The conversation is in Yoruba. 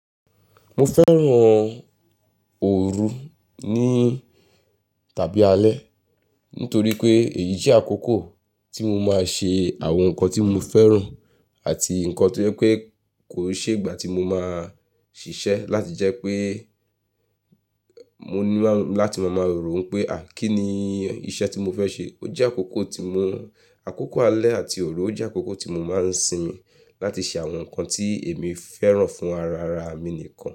Mo fẹ́ràn òru ní tàbí alẹ́ nítorí pé èyí jẹ́ àkókò tí mo máa ṣe àwọn nǹkan tí mo fẹ́ràn àti nǹkan tí o jé pé kò kí n ṣe ìgbà tí mo máa ṣiṣẹ́ láti jẹ́ pé mo ní láti máa maa ròó pé, à, kí ni iṣẹ́ tí mo fẹ́ ṣe? Ó jẹ́ àkókò tí mo, àkókò alẹ́ àti òru ó jẹ́ àkókò tí mo máa ń sin láti ṣe àwọn nǹkan tí èmi fẹ́ràn fún ara ara mi nìkan.